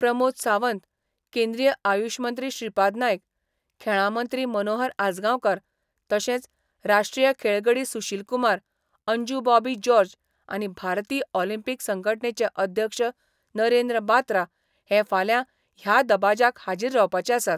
प्रमोद सावंत, केंद्रीय आयुष मंत्री श्रीपाद नायक, खेळां मंत्री मनोहर आजगांवकार तशेंच राष्ट्रीय खेळगडी सुशीलकुमार, अंजू बॉबी जॉर्ज आनी भारतीय ऑलिंपीक संघटणेचे अध्यक्ष नरेंद्र बात्रा हे फाल्यां ह्या दबाज्याक हाजीर रावपाचे आसात.